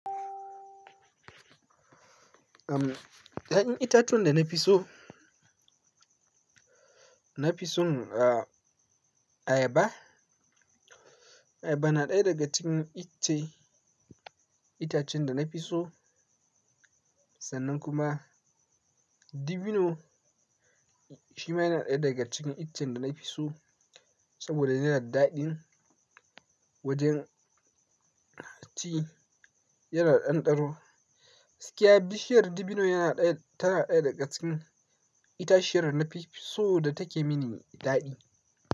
Uhm, ya'yan itatuwan da na fi so, na fi son ayaba. Ayaba na ɗaya daga cikin icce itacen da na fi so, sannan kuma dabino shi ma yana ɗaya daga cikin ichchen da na fi so saboda yana da daɗi wajen ci yana ɗanɗano. Gaskiya bishiyar dabino yana ɗaya, tana ɗaya daga cikin itaciyar na fi so da take mini daɗi.